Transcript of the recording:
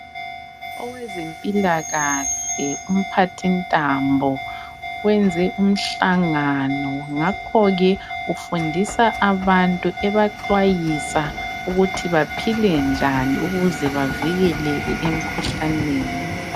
Owezempilakahle umphathintambo wenze umhlangano ngakho ke ufundisa abantu ebaxwayisa ukuthi baphile njani ukuze bavikeleke emkhuhlaneni.